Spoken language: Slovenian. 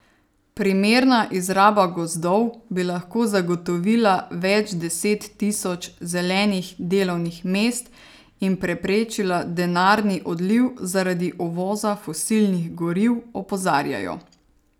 Primerna izraba gozdov bi lahko zagotovila več deset tisoč zelenih delovnih mest in preprečila denarni odliv zaradi uvoza fosilnih goriv, opozarjajo.